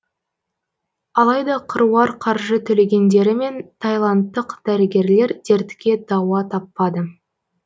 алайда қыруар қаржы төлегендерімен тайландтық дәрігерлер дертке дауа таппады